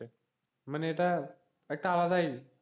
মানে এটা একটা আলাদাই,